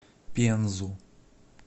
пензу